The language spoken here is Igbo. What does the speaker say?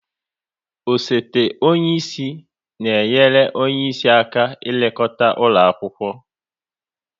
Osote onye isi na enyere onye isi aka n'elekota ụlọ akwụkwọ